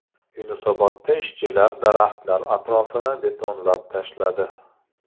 Yunusobodda ishchilar daraxtlar atrofini betonlab tashladi.